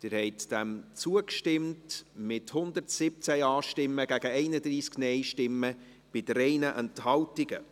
Sie haben diesem Antrag zugestimmt, mit 117 Ja- gegen 31 Nein-Stimmen bei 3 Enthaltungen.